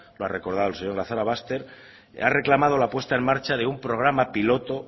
lo ha recordado el señor lazarobaster ha reclamado la puesta en marcha de un programa piloto